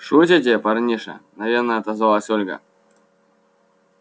шутите парниша мгновенно отозвалась ольга